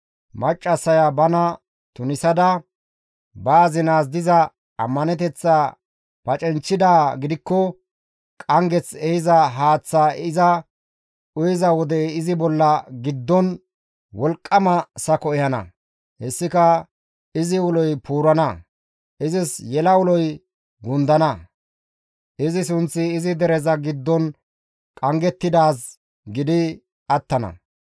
Maccassaya bana tunisada ba azinaas diza ammaneteththaa pacinchchidaa gidikko qanggeth ehiza haaththaa iza uyiza wode izi bolla giddon wolqqama sako ehana; hessika izi uloy puurana; izis yela uloy gundana; izi sunththi izi dereza giddon qanggettidaaz gidi attana.